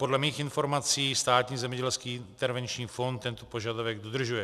Podle mých informací Státní zemědělský intervenční fond tento požadavek dodržuje.